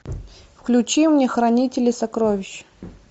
включи мне хранители сокровищ